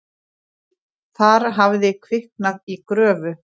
Þar hafði kviknað í gröfu.